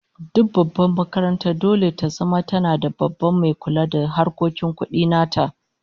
Duk babbar makaranta dole ta zama tana da Babban mai kula da harkokin kudi nata